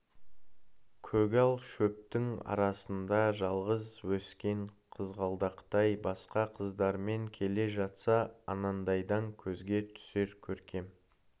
көгал шөптің арасында жалғыз өскен қызғалдақтай басқа қыздармен келе жатса анандайдан көзге түсер көркем